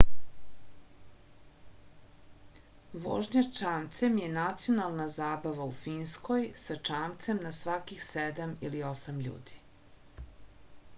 vožnja čamcem je nacionalna zabava u finskoj sa čamcem na svakih sedam ili osam ljudi